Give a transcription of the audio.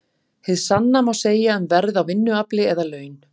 Hið sama má segja um verð á vinnuafli eða laun.